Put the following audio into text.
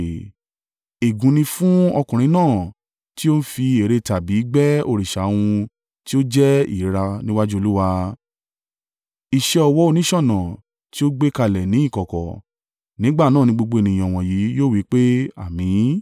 “Ègún ni fún ọkùnrin náà tí ó fín ère tàbí gbẹ́ òrìṣà ohun tí ó jẹ́ ìríra níwájú Olúwa, iṣẹ́ ọwọ́ oníṣọ̀nà tí ó gbé kalẹ̀ ní ìkọ̀kọ̀.” Nígbà náà ni gbogbo ènìyàn wọ̀nyí yóò wí pé, “Àmín!”